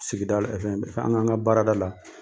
Sigida ɛ fɛn an kan ka baarada la.